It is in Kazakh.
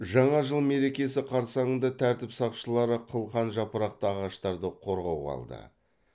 жаңа жыл мерекесі қарсаңында тәртіп сақшылары қылқан жапырақты ағаштарды қорғауға алды